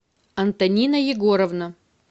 антонина егоровна